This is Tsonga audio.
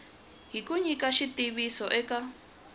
hi ku nyika xitiviso eka